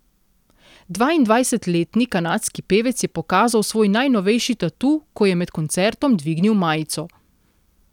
Dvaindvajsetletni kanadski pevec je pokazal svoj najnovejši tatu, ko je med koncertom dvignil majico.